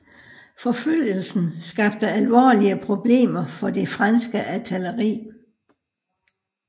Forfølgelsen skabte alvorlige problemer for det franske artilleri